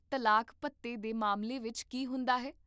ਤਲਾਕ ਭੱਤੇ ਦੇ ਮਾਮਲੇ ਵਿੱਚ ਕੀ ਹੁੰਦਾ ਹੈ?